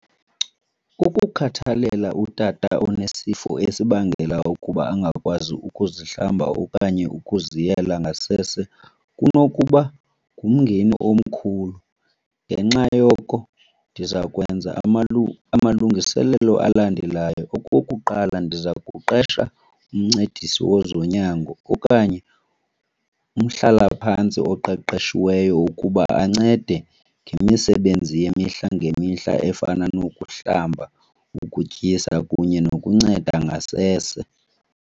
Ukukhathalela utata onesifo esibangela ukuba angakwazi ukuzihlamba okanye ukuziyela ngasese kunokuba ngumngeni omkhulu. Ngenxa yoko ndiza kwenza amalungiselelo alandelayo. Okokuqala, ndiza kuqesha umncedisi wezonyango okanye umhlalaphantsi oqeqeshiweyo ukuba ancede ngemisebenzi yemihla ngemihla efana nokuhlamba, ukutyisa kunye nokunceda ngasese.